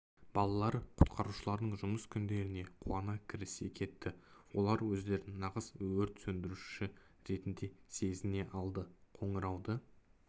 балалар құтқарушылардың жұмыс күндеріне қуана кірісе кетті олар өздерін нағыз өрт сөндіруші ретінде сезіне алды қоңырауды